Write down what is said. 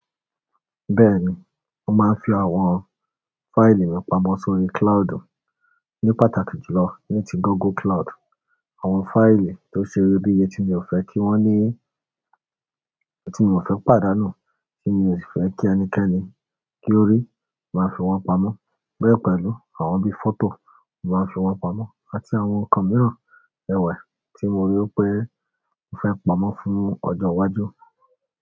Bẹ́ẹ̀ni, mo máa ń fi àwọn fáìlì mi pamọ́ sórí cloudu ní pàtàkì jùlọ ní ti Google Cloud. Àwọn fáìlì tó ṣeyebíye tí mi ò fẹ́ kí wọ́n ní, tí mi ò fẹ́ pàdánù, tí mi ò fẹ́ kí ẹnikẹ́ni kí ó rí, màá fi wọ́n pamọ́. Bẹ́ẹ̀ pẹ̀lú àwọn bí i fọ́tò, n màá ń fi wọn pamọ́ àti àwọn nǹkan mìíràn, ẹwà tí mo rí pé mo fẹ́ pamọ́ fún ọjọ́ iwájú.